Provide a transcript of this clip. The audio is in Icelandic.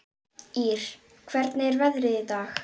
Ýr, hvernig er veðrið í dag?